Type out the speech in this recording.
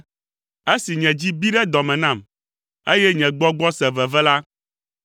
Esi nye dzi bi ɖe dɔ me nam, eye nye gbɔgbɔ se veve la,